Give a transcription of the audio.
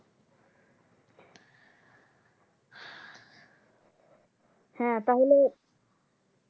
হ্যাঁ তাহলে